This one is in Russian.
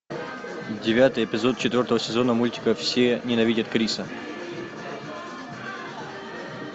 девятый эпизод четвертого сезона мультика все ненавидят криса